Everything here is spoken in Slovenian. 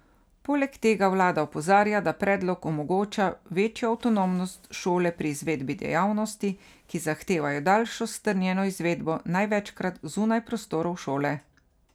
Poleg tega vlada opozarja, da predlog omogoča večjo avtonomnost šole pri izvedbi dejavnosti, ki zahtevajo daljšo strnjeno izvedbo, največkrat zunaj prostorov šole.